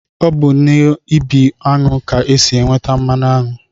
Ọ bụ n'ibi aṅụ ka e si enweta mmanụ aṅụ